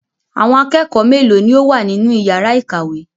Àwọn akẹ́kọ̀ọ́ mélòó ni ó wà nínú ìyàrá-ìkàwé?